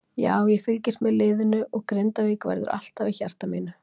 Já, ég fylgist með liðinu og Grindavík verður alltaf í hjarta mínu.